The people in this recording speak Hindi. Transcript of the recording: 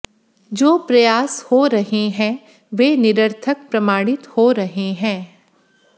जो प्रयास हो रहे हैं वे निरर्थक प्रमाणित हो रहे हैं